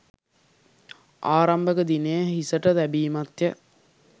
ආරම්භක දිනය හිසට තැබීමත්ය.